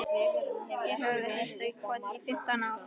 Hér höfum við hírst í kotinu í fimmtán ár.